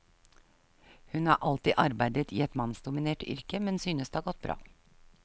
Hun har alltid arbeidet i et mannsdominert yrke, men synes det har gått bra.